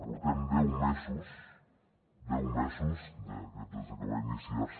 portem deu mesos deu mesos des que va iniciar se